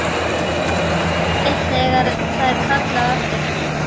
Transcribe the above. Lítur við þegar það er kallað á eftir henni.